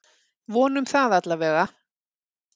Vonum það allavega!